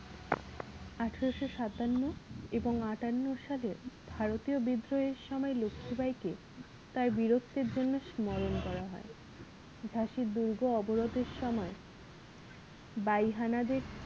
আঠারোশো সাতান্ন এবং আটান্ন সালের ভারতীয় বিদ্রোহের সময় লক্ষীবাঈ কে তার বীরত্বের জন্য স্মরণ করা হয় ঝাঁসির দুর্গ অবরোধের সময় বাঈ হানাদের